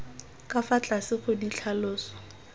ka fa tlase ga ditlhaloso